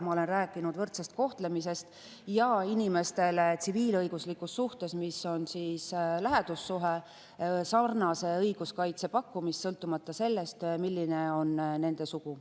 Ma olen rääkinud võrdsest kohtlemisest ja inimestele tsiviilõiguslikus suhtes, mis on lähedussuhe, sarnase õiguskaitse pakkumisest, sõltumata sellest, milline on nende sugu.